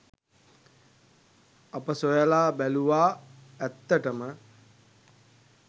අප සොයලා බැලූවා ඇත්තටම